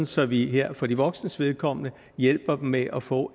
så vi for de voksnes vedkommende her hjælper dem med at få